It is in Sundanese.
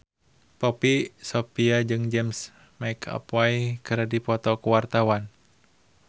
Poppy Sovia jeung James McAvoy keur dipoto ku wartawan